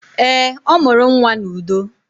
Eé, ọ mụrụ nnwa n'udo.